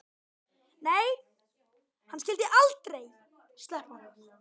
Nei, hann skyldi aldrei sleppa honum.